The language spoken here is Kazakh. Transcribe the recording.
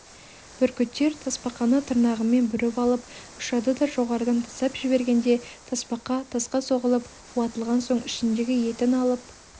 бүркіттер тасбақаны тырнағымен бүріп алып ұшады да жоғарыдан тастап жібергенде тасбақа тасқа соғылып уатылған соң ішіндегі етін алып